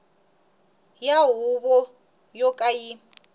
ya huvo yo ka yi